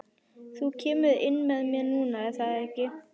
Þú kemur inn með mér núna, er það ekki?